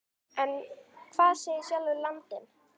En hvað segir sjálfur landinn?